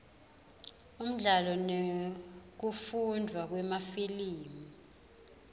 umdlalo nekufundvwa kwemafilimu